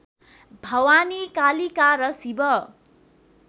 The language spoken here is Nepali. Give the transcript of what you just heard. भवानी कालिका र शिव